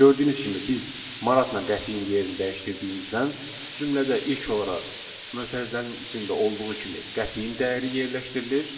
Gördüyünüz kimi biz manatla qəpiyin yerini dəyişdirdiyimizdən cümlədə ilk olaraq mötərizənin içində olduğu kimi qəpiyin dəyəri yerləşdirilir.